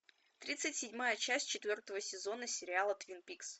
тридцать седьмая часть четвертого сезона сериала твин пикс